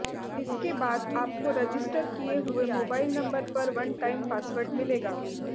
इसके बाद आपको रजिस्टर किए हुए मोबाइल नंबर पर वन टाइम पासवर्ड मिलेगा